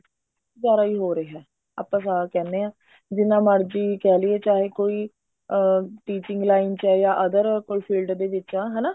ਗੁਜ਼ਾਰਾ ਹੀ ਹੋ ਰਿਹਾ ਆਪਾਂ ਸਾਫ਼ ਕਹਿੰਦੇ ਹਾ ਜਿੰਨਾ ਮਰਜ਼ੀ ਕਿਹ ਲਈਏ ਚਾਹੇ ਕੋਈ ਅਹ teaching line ਹੈ ਜਾਂ other ਕੋਈ field ਦੇ ਵਿੱਚ ਆ ਹਨਾ